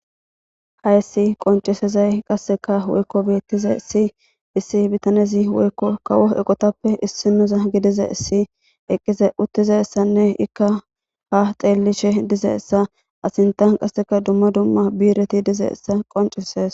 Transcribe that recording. Hayssi qoncisezay qasseka woykko beettishe issi issi bittanezi woykko kawo eqotappe issinoza gidizyssanne eqqiza uttizassanne ikka ha xeellishe dizayssa a sinttan qasseka dumma dumma bi'ireti dizayssa qoncises